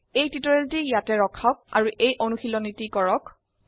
এই টিউটোৰীয়ালটি ইয়াতে ৰখাওক আৰু এই অনুশীলনীটি কৰক